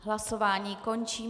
Hlasování končím.